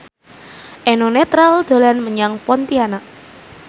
Eno Netral dolan menyang Pontianak